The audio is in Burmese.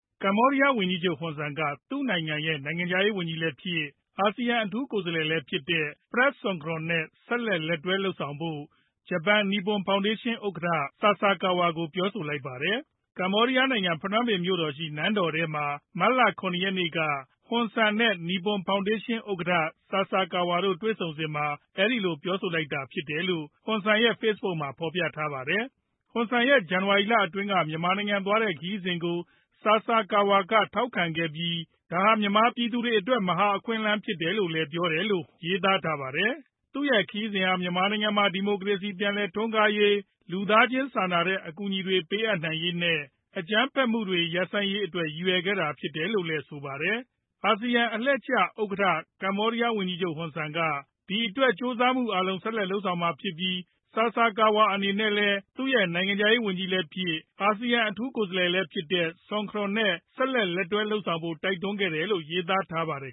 ကမ္ဘောဒီယားဝန်ကြီးချုပ် Hun Sen က သူနိုင်ငံရဲ့ နိုင်ငံခြားရေးဝန်းကြီးလည်းဖြစ် ၊ အာဆီယံ အထူးကိုယ်စားလှယ်လည်းဖြစ်တဲ့ Prak Sokhonn နဲ့ ဆက်လက် လက်တွဲလုပ်ဆောင်ဖို့ ဂျပန် Nippon Foundation ဥက္ကဌ Yohei Sasakawa ကို ပြောဆိုလိုက်ပါတယ်။ ကမ္ဘောဒီယားနိုင်ငံ ဖနွမ်းပင်မြို့တော်ရှိ နန်းတော်ထဲမှာ မတ်လ ၇ ရက်နေ့က ဟွန်ဆန် နဲ့ Nippon Foundation ဥက္ကဌ Sasakawa တို့တွေ့ဆုံစဉ်မှာ အဲဒီလိုပြောလိုက်တာဖြစ်ပါတယ်လို့ ဟွန်ဆန်ရဲ့ လူမှုကွန်ရက် Facebook မှာ ဖော်ပြထားပါတယ်။ ဟွန်ဆန်ရဲ့ ဇန်နဝါရီလအတွင်းက မြန်မာနိုင်ငံသွားတဲ့ ခရီးစဉ်ကို Sasakawa က ထောက်ခံခဲ့ပြီး ဒါဟာ မြန်မာပြည်သူတွေအတွက် မဟာ အခွင့်အလမ်း ဖြစ်တယ်လို့လည်း ပြောတယ်လို့ ရေးသားထားပါတယ်။ သူ့ရဲ့ ခရီးစဉ်ဟာ မြန်မာနိုင်ငံမှာ ဒီမိုကရေစီ ပြန်လည်ထွန်းကားရေး၊ လူသားချင်းစာနာတဲ့ အကူအညီတွေ ပေးအပ်နိုင်ရေး နဲ့ အကြမ်းဖက်မှုတွေ ရပ်ဆိုင်းရေးအတွက် ရည်ရွယ်ခဲ့တာဖြစ်တယ်လို့လည်း ဆိုပါတယ်။ အာဆီယံအလှည့်ကျ လက်ရှိ ဥက္ကဌ ကမ္ဘောဒီယားဝန်ကြီးချုပ် ဟွန်ဆန်းက ဒီအတွက် ကြိုးစားမှုအားလုံး ဆက်လက် လုပ်ဆောင်မှာဖြစ်ပြီး Sasakawa အနေနဲ့လည်း သူရဲ့နိုင်ငံခြားရေးဝန်ကြီးလည်းဖြစ်၊ အာဆီယံ အထူးကိုယ်စားလှယ်လည်းဖြစ်တဲ့ Sokhonn နဲ့ ဆက်လက် လက်တွဲလုပ်ဆောင်ဖို့ တိုက်တွန်းခဲ့တယ်လို့ ရေးသားထားပါတယ်